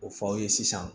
O fɔ aw ye sisan